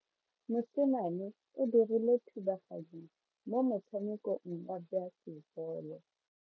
Mosimane o dirile thubaganyo mo motshamekong wa basebolo.